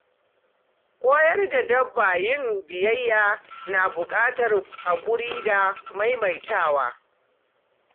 Koyar da dabba yin biyayya na buƙatar haƙuri da maimaitawa.